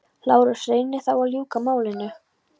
LÁRUS: Reynið þá að ljúka málinu.